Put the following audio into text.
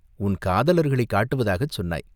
உன் காதலர்களைக் காட்டுவதாகச் சொன்னாய்!